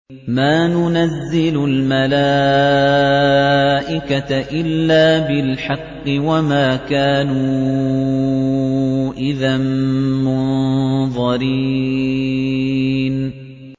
مَا نُنَزِّلُ الْمَلَائِكَةَ إِلَّا بِالْحَقِّ وَمَا كَانُوا إِذًا مُّنظَرِينَ